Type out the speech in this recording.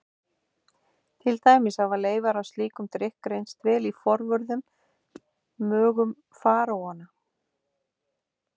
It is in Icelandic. Til dæmis hafa leifar af slíkum drykk greinst í vel forvörðum mögum faraóanna.